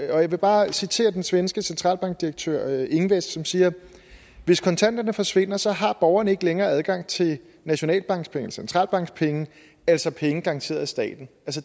jeg vil bare citere den svenske centralbankdirektør ingves som siger hvis kontanterne forsvinder så har borgerne ikke længere adgang til nationalbankspenge centralbankspenge altså penge garanteret af staten